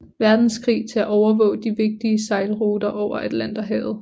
Verdenskrig til at overvåge de vigtige sejlruter over Atlanterhavet